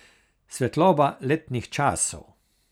Svetloba letnih časov.